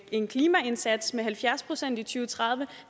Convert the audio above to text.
en klimaindsats med halvfjerds procent i to tusind og tredive